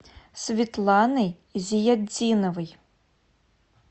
светланой зиятдиновой